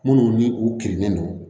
Minnu ni u kirinen no